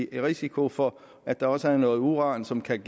risiko for at der også er noget uran som kan